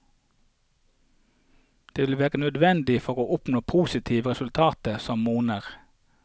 Dette vil være nødvendig for å oppnå positive resultater som monner.